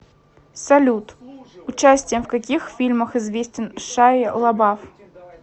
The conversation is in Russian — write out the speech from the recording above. салют участием в каких фильмах известен шайя лабаф